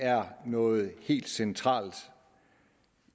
er noget helt centralt